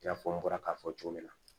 I n'a fɔ n bɔra k'a fɔ cogo min na